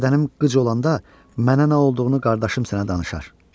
Bədənim qıc olanda mənə nə olduğunu qardaşım sənə danışar.